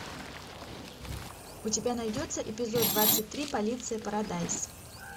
у тебя найдется эпизод двадцать три полиция парадайз